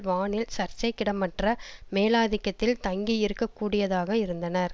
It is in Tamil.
வானில் சர்ச்சைக்கிடமற்ற மேலாதிக்கத்தில் தங்கி இருக்கக்கூடியாதாக இருந்தனர்